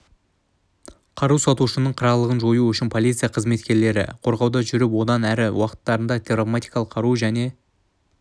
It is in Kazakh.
қару сатушының қырағылығын жою үшін полиция қызметкерлері қорғауда жүріп одан әр түрлі уақыттарда травматикалық қару және